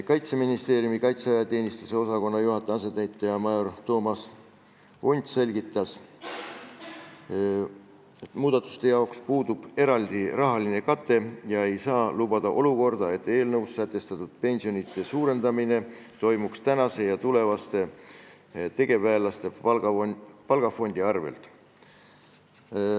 Kaitseministeeriumi kaitseväeteenistuse osakonna juhataja asetäitja major Toomas Unt selgitas, et muudatuste jaoks puudub eraldi rahaline kate ja ei saa lubada olukorda, et eelnõus sätestatud pensionide suurendamine toimuks tänaste ja tulevaste tegevväelaste palgafondi arvel.